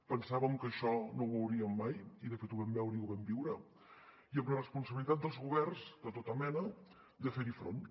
pensàvem que això no ho veuríem mai i de fet ho vam veure i ho vam viure i amb la responsabilitat dels governs de tota mena de fer hi front